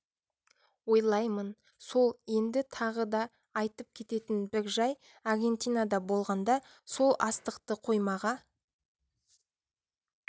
ойлаймын сол енді тағы да айтып кететін бір жай аргентинада болғанда сол астықты қоймаға